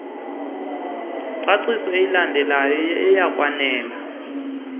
ngcaciso ilandelayo iyakwanela